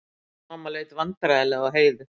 Mamma leit vandræðalega á Heiðu.